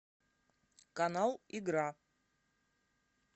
канал игра